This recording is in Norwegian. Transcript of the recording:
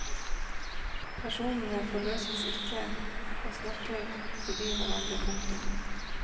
Personene forløses ikke og snakker forbi hverandre. punktum